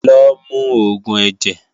Lo mu oògùn ẹ̀jẹ̀!